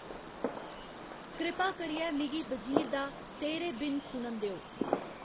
कृपा करियै मिगी वज़ीर दा तेरे बिन सुनन देओ